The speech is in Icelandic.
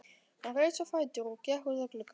Hún reis á fætur og gekk út að glugga.